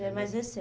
Já é mais